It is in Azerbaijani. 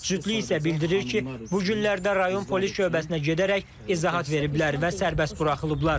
Cütlük isə bildirir ki, bu günlərdə rayon polis şöbəsinə gedərək izahat veriblər və sərbəst buraxılıblar.